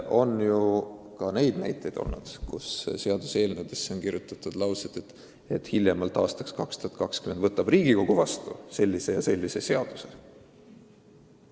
On ju ennegi olnud seaduseelnõudesse kirjutatud näiteks selliseid lauseid, et hiljemalt aastaks 2020 võtab Riigikogu vastu sellise ja sellise seaduse.